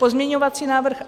Pozměňovací návrh